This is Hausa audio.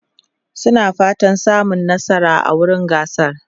suna fatan su samu nasara a wurin gasar